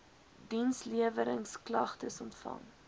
diensleweringsk lagtes ontvang